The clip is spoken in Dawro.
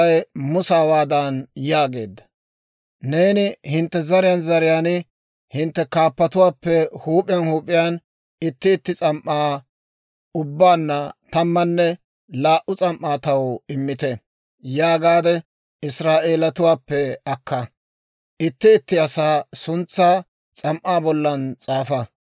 «Neeni, ‹Hintte zariyaan zariyaan hintte kaappatuwaappe huup'iyaan huup'iyaan itti itti s'am"aa ubbaanna tammanne laa"u s'am"aa taw immite› yaagaade Israa'eelatuwaappe akka. Itti itti asaa suntsaa s'am"aa bollan s'aafa.